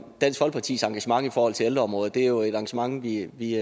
dansk folkepartis engagement i forhold til ældreområdet det er jo et engagement vi i